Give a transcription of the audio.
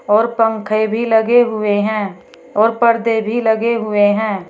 और पंखे भी लगे हुए हैं और पर्दे भी लगे हुए हैं।